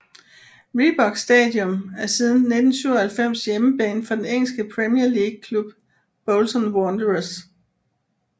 Reebok Stadium er siden 1997 hjemmebane for den engelske Premier League klub Bolton Wanderers